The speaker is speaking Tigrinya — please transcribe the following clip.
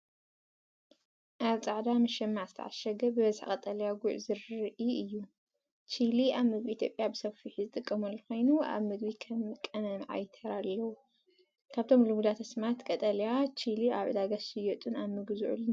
ኣብ ጻዕዳ መሸማዕ ዝተዓሸገ ብብዝሒ ቀጠልያ ጉዕ ዘርኢ እዩ። ቺሊ ኣብ ምግቢ ኢትዮጵያ ብሰፊሑ ዝጥቀመሉ ኮይኑ ኣብ ምግቢ ከም ቀመም ዓቢ ተራ ኣለዎ። ካብቶም ልሙዳት ኣስማት ቀጠልያ ቺሊ ኣብ ዕዳጋ ዝሽየጡን ኣብ ምግቢ ዝውዕሉን እንታይ እዮም?